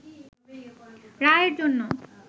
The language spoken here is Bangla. রায়ের জন্য